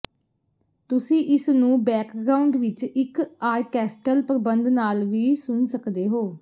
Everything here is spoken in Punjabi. ਤੁਸੀਂ ਇਸਨੂੰ ਬੈਕਗ੍ਰਾਉਂਡ ਵਿੱਚ ਇੱਕ ਆਰਕੈਸਟਲ ਪ੍ਰਬੰਧ ਨਾਲ ਵੀ ਸੁਣ ਸਕਦੇ ਹੋ